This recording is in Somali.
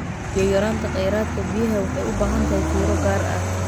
Biyo yaraanta kheyraadka biyaha waxay u baahan tahay fiiro gaar ah.